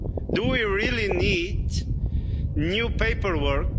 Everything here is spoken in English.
Do we really need new paperwork?